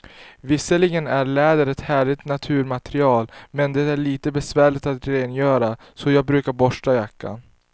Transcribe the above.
Visserligen är läder ett härligt naturmaterial, men det är lite besvärligt att rengöra, så jag brukar borsta jackan.